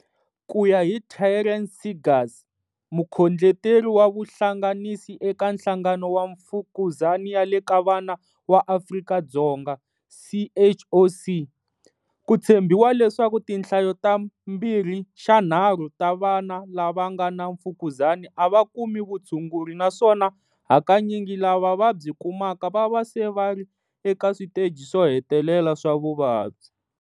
Ku ya hi Taryn Seegers, Mukhondleteri wa Vuhlanganisi eka Nhlangano wa Mfukuzani ya le ka Vana wa Afrika-Dzonga, CHOC, ku tshembiwa leswaku tinhlayo ta mbirhixanharhu ta vana lava nga na mfukuzani a va kumi vutshunguri na swona hakanyingi lava va byi kumaka va va se vari eka switeji swo hetelela swa vuvabyi.